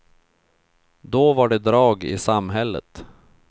Då det var drag i samhället.